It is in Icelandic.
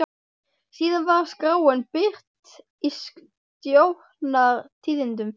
Síðan var skráin birt í Stjórnar- tíðindum.